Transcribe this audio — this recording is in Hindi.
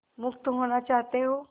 मुक्त होना चाहते हो